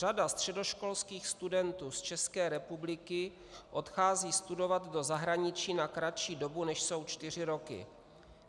Řada středoškolských studentů z České republiky odchází studovat do zahraničí na kratší dobu, než jsou čtyři roky.